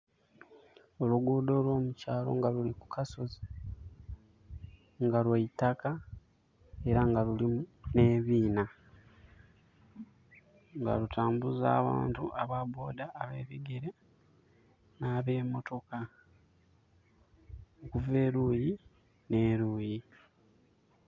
Oluguudho olw'omukyalo nga luli kukasozi, nga lwa itaka, era nga lulimu n'ebiinha. Nga lutambuza abantu ababooda, abebigere, ni ab'emotoka okuva eluuyi n'eluuyi.